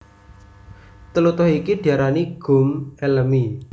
Tlutuh iki diarani gum elemi